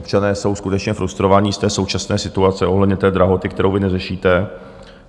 Občané jsou skutečně frustrovaní z té současné situace ohledně té drahoty, kterou vy neřešíte.